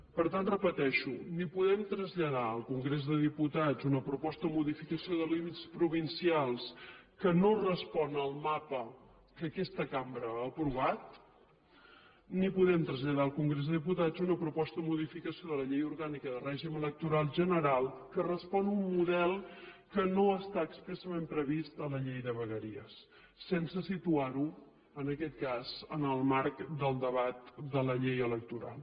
per tant ho repeteixo ni podem traslladar al congrés dels diputats una proposta de modificació de límits provincials que no respon al mapa que aquesta cambra ha aprovat ni podem traslladar al congrés dels diputats una proposta de modificació de la llei orgànica de règim electoral general que respon a un model que no està expressament previst a la llei de vegueries sense situar ho en aquest cas en el marc del debat de la llei electoral